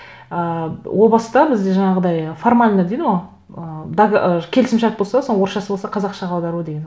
ііі о баста бізде жаңағыдай формально дейді ғой ы келісімшарт болса соның орысшасы болса қазақшаға аудару деген